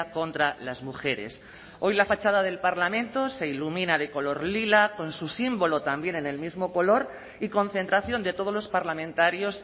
contra las mujeres hoy la fachada del parlamento se ilumina de color lila con su símbolo también en el mismo color y concentración de todos los parlamentarios